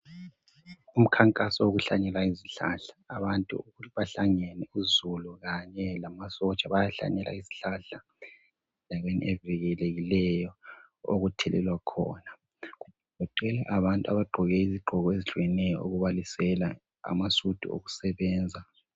Umkhankaso wokuhlanyela izihlahla abantu bahlangene uzulu kanye lamasotsha bayahlanyela izihlahla endaweni evikelekileyo okuthelelwa khona kugcwele abantu abagqoke izigqoko ezitshiyeneyo okubalisela amasudu okusebenza.